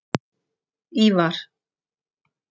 Ívar